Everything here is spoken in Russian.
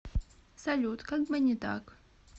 салют как бы не так